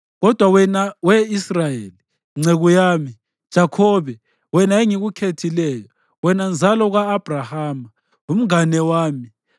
“Kodwa wena we Israyeli, nceku yami, Jakhobe, wena engikukhethileyo, wena nzalo ka-Abhrahama, umngane wami,